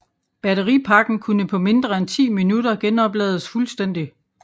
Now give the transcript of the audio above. Batteripakken kunne på mindre end 10 minutter genoplades fuldstændig